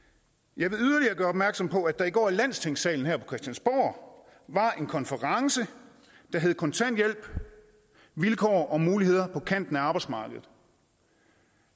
jeg vil yderligere gøre opmærksom på at der i går i landstingssalen her på christiansborg var en konference der hed kontanthjælp vilkår og muligheder på kanten af arbejdsmarkedet